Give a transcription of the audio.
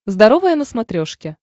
здоровое на смотрешке